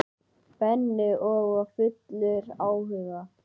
Benni og var fullur áhuga.